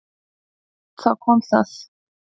Þá kom það.